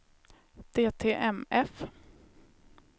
DTMF